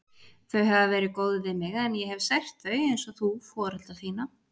Þau hafa verið góð við mig, en ég hef sært þau, einsog þú foreldra þína.